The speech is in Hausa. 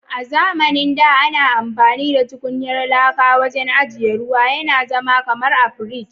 A zamanin da ana amfani da tukunyar laka wajen ajiya ruwa, Yana zama kamar a fridge.